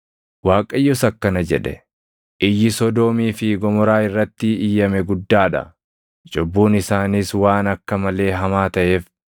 Waaqayyos akkana jedhe; “Iyyi Sodoomii fi Gomoraa irratti iyyame guddaa dha; cubbuun isaaniis waan akka malee hamaa taʼeef